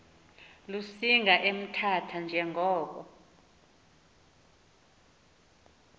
lusinga emthatha njengoko